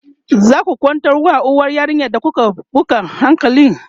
zaku kwantar wa uwar yarinyar da kuka buga hankali?